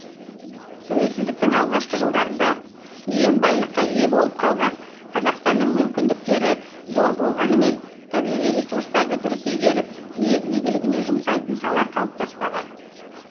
тәуелсіздіктің алғашқы жылдарында иен байлыққа ие болып қалған қазақстанның мүмкіндіктері зор болғанымен табиғи ресурстарды дұрыс игеріп ел игілігіне жұмсайтын сала қалыптаспаған